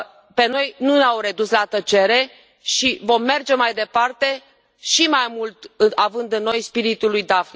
Pe noi nu ne au redus la tăcere și vom merge mai departe și mai mult având în noi spiritul lui Daphne.